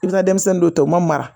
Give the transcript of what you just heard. I bɛ taa denmisɛnnin dɔ ta u ma mara